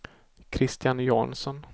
Christian Jansson